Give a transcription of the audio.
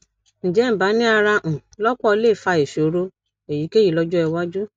ǹjẹ nbani ara um lopo le fa ìṣòro èyíkéyìí lọjọ iwájú